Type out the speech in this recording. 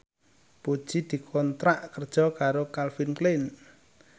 Puji dikontrak kerja karo Calvin Klein